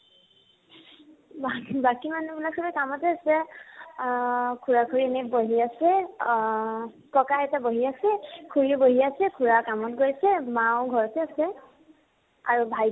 বা বাকী মাহুহ বিলাক চবে কামতে আছে। আহ খুড়া খুড়ী এনে বহি আছে, আহ ককা আইতা বহি আছে, খুড়াও বহি আছে, খুড়া কামত গৈছে, মাও ঘৰতে আছে। আৰি ভাইটি